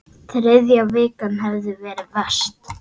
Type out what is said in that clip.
Þriðja vikan hefði verið verst.